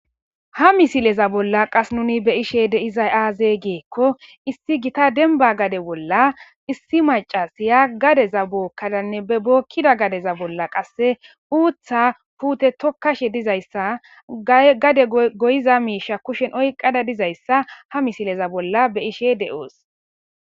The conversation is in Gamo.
Ha misileza bolla qas nuuni be7ishee de7izay aazee giikko issi githa dembba gade bolla issi maccasiya gadeza bookkadanne bookkiza gadeza bolla qassi uuththaa puuthe thokkashe dizayssa gade goyiza miishsha kushen oyqqada dizayssa ha misileza bolla be7ishee de7oos.